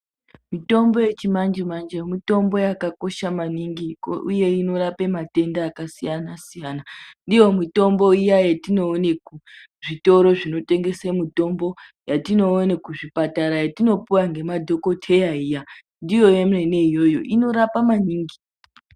Mitombo yechimanje-manje mitombo yakakosha maningi uye inorapa matenda akasiyana-siyana. Ndiyo mitombo iya yetinoona kuzvitoro zvinotengesa mitombo yetinoona kuzvipatara yetinopuwa ngemadhokodheya iya, ndiyo yemene iyoyo inorapa maningi.